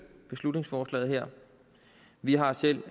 beslutningsforslaget her vi har selv